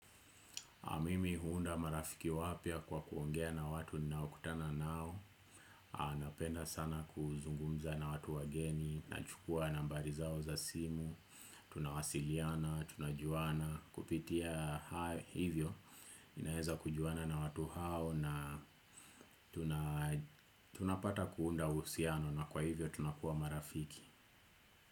Mimi huunda marafiki wapya kwa kuongea na watu ninaokutana nao. Anapenda sana kuzungumza na watu wageni, nachukua nambari zao za simu, tunawasiliana, tunajuana kupitia hivyo. Naweza kujuana na watu hao na tunapata kuunda uhusiano na kwa hivyo tunakuwa marafiki.